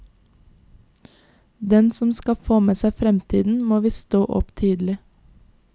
Den som skal få med seg fremtiden må visst stå opp tidlig.